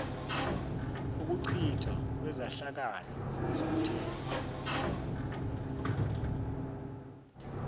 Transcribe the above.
ukuchithwa kwezehlakalo zomthetho